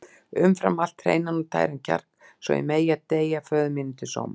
Umfram allt hreinan og tæran kjark svo ég megi deyja föður mínum til sóma.